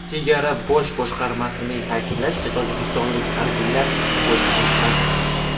Chegara bosh boshqarmasining ta’kidlashicha, tojikistonlik harbiylar o‘t ochmagan.